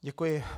Děkuji.